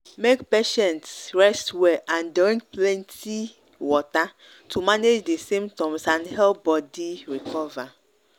make patients rest well and drink plenty water to manage di symptoms and help body recover